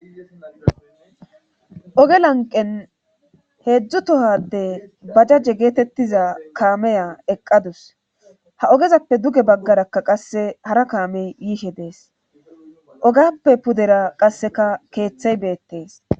Oge lanqen heedzdzu tohade bajajje geetettiza kaameya eqqadus ha ogezappe duge baggarakka qasse hara kaamey yiihe dees ogappe pudera qasseka keeththey beettees